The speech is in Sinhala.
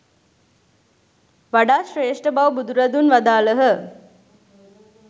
වඩා ශ්‍රේෂ්ඨ බව බුදුරදුන් වදාළහ.